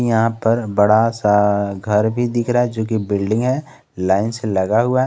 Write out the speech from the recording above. यहां पर बड़ा सा घर भी दिख रहा है जो की बिल्डिंग है लाइन से लगा हुआ।